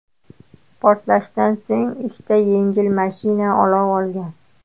Portlashdan so‘ng uchta yengil mashina olov olgan.